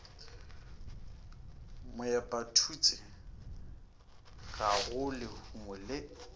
moepathutse ga go lehumo le